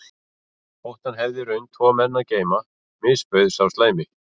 Þótt hann hefði í raun tvo menn að geyma misbauð sá slæmi